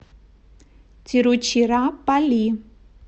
тируччираппалли